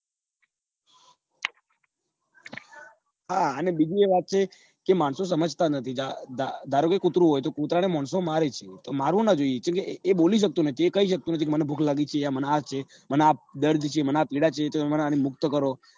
હા અને બીજું એ વાત છે કે માણસો સમજતા નઈ ધારોકે કૂતરું હોય તો કુતરા ને માણસો મારે છે તો મારવું ના જોઈએ કમ કે એ બોલી શકતું નઈ એ કઈ શકતું નથી કે મને ભૂખ લાગી છે કે મને આ છે મને આ દર્દ છે મને આ પીડા છે.